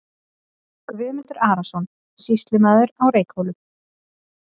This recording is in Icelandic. Guðmundur Arason, sýslumaður á Reykhólum.